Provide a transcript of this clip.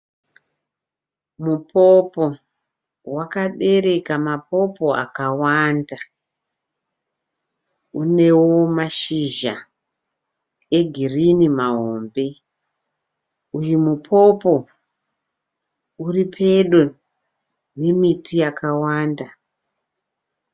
Mupopo wakabereka mapopo akawanda unewo mashizha egirini mahombe. Uyu mupopo uripedo nemiti yakawanda.